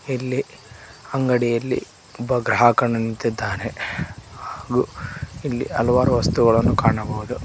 ಇಲ್ಲಿ ಅಂಗಡಿಯಲ್ಲಿ ಒಬ್ಬ ಗ್ರಾಹಕನು ನಿಂತಿದ್ದಾನೆ ಹಾಗೂ ಇಲ್ಲಿ ಹಲವಾರು ವಸ್ತುಗಳನ್ನು ಕಾಣಬಹುದು.